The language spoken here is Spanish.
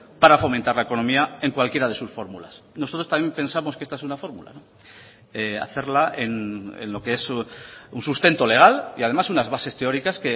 para fomentar la economía en cualquiera de sus fórmulas nosotros también pensamos que esta es una fórmula hacerla en lo que es un sustento legal y además unas bases teóricas